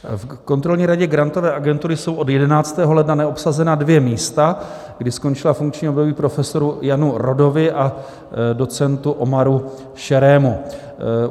V Kontrolní radě Grantové agentury jsou od 11. ledna neobsazena dvě místa, kdy skončila funkční období profesoru Janu Rodovi a docentu Omarovi Šerému.